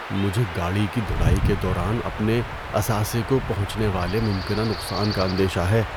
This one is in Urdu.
مجھے گاڑی کی دھلائی کے دوران اپنے اثاثے کو پہنچنے والے ممکنہ نقصان کا اندیشہ ہے۔